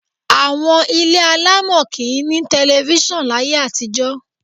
Àwọn ilé alámọ̀ kì í ní tẹlifíṣàn láyé àtijọ́.